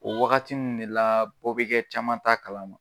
O wagati nn de la bɔ be kɛ caman ta kalama.